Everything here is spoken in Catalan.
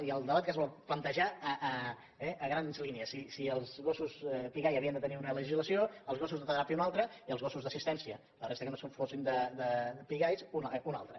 i el debat que es vol plantejar a grans línies si els gossos pigall havien de tenir una legislació els gossos de teràpia una altra i els gossos d’assistència la resta que no fossin pigall una altra